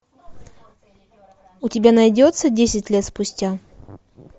у тебя найдется десять лет спустя